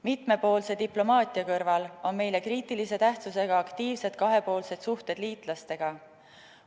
Mitmepoolse diplomaatia kõrval on meile kriitilise tähtsusega aktiivsed kahepoolsed suhted liitlastega.